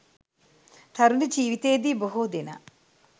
තරුණ ජීවිතයේදී බොහෝ දෙනා